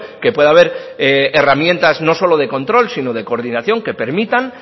que puede haber herramientas no solo de control sino de coordinación que permitan